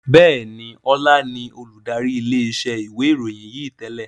Bẹ́ẹ̀ni, Ọlá ni olùdarí ilé iṣẹ́ ìwé ìròyìn yí tẹ́lẹ̀